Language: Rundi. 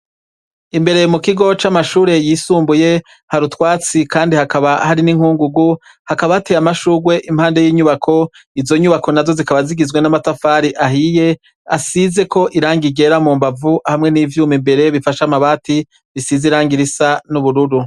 Imbere mu kigo c'amashure yisumbuye hari utwatsi, kandi hakaba hari n'inkungugu. Hakaba hateye amashurwe impande y'inyubako izo nyubako na zo zikaba zigizwe n'amatafari ahiye asizeko iranga igera mu mbavu hamwe n'ivyuma imbere bifasha amabati risize iranga irisa n'ubururu.